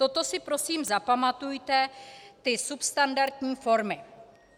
Toto si prosím zapamatujte - ty substandardní formy.